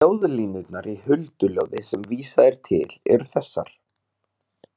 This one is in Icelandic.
Ljóðlínurnar í Hulduljóði sem vísað er til eru þessar.